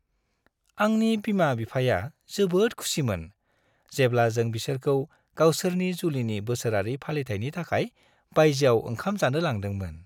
आंनि बिमा-बिफाया जोबोद खुसिमोन, जेब्ला जों बिसोरखौ गावसोरनि जुलिनि बोसोरारि फालिथायनि थाखाय बायजोआव ओंखाम जानो लांदोंमोन।